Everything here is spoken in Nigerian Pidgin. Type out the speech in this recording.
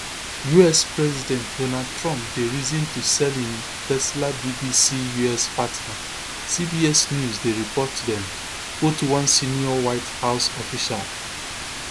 us president donald trump dey reason to sell im tesla bbc us partner cbs news dey report dem quote one senior white house official